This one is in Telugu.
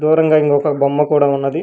దూరంగా ఇంకొక బొమ్మ కూడా ఉన్నది.